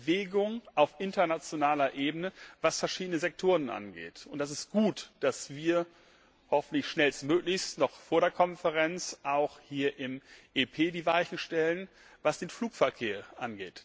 Aber es gibt Bewegung auf internationaler Ebene, was verschiedene Sektoren angeht. Es ist gut, dass wir hoffentlich schnellstmöglich noch vor der Konferenz auch hier im EP die Weichen für den Flugverkehr stellen.